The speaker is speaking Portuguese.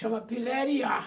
Chama piléria.